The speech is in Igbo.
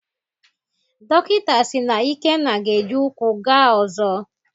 Dọkịta si na Ikenna ga-eji ụkwụ gaa ọzọ.